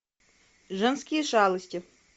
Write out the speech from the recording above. женские шалости